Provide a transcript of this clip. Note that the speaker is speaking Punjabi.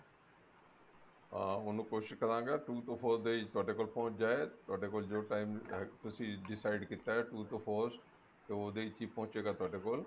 ਹਾਂ ਉਹਨੂੰ ਕੋਸ਼ਿਸ਼ ਕਰਾਂਗਾ two to four days ਤੁਹਾਡੇ ਕੋਲ ਪਹੁੰਚ ਜਾਏ ਤੁਹਾਡੇ ਕੋਲ ਜੋ time ਐ ਤੁਸੀਂ decide ਕੀਤਾ two to four ਦੇ ਵਿੱਚ ਹੀ ਪਹੁੰਚੇਗਾ ਤੁਹਾਡੇ ਕੋਲ